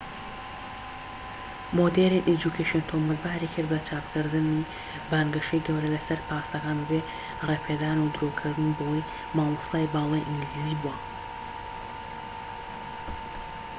مۆدێرن ئێجوکەیشن تۆمەتباری کرد بە چاپکردنی بانگەشەی گەورە لەسەر پاسەکان بەبێ ڕێپێدان و درۆکردن بەوەی مامۆستای باڵای ئینگلیزی بووە